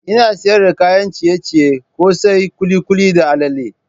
Ina sayar da kayan ciye-ciye, kose, kulikuli da allale.